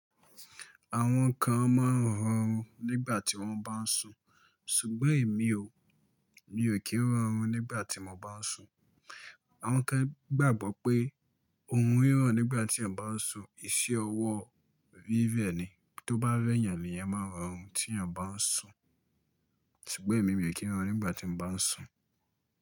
Àwọn kan máa ń rọnrùn nígbà tí wọ́n bá ń sùn, ṣùgbọ́n èmi ò, mi ò kí ń rọnrùn nígbà tí mo bá ń sùn. Àwọn kan gbàgbọ́ pé, òrun rí rọn nígbà tí òun bá ń sùn, iṣẹ́ ọwọ́ rírẹ ni. Tó bá rẹ́ yàn ni èèyàn máa rọnrùn tí èèyàn bá ń sùn. Ṣùgbọ́n èmi ò kí ń rọnrùn nígbà tí mo bá ń sùn.